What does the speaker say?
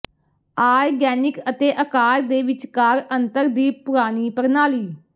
organic ਅਤੇ ਅਕਾਰ ਦੇ ਵਿਚਕਾਰ ਅੰਤਰ ਦੀ ਪੁਰਾਣੀ ਪ੍ਰਣਾਲੀ